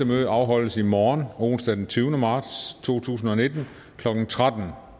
møde afholdes i morgen onsdag den tyvende marts to tusind og nitten klokken tretten